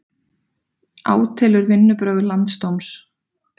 Átelur vinnubrögð landsdóms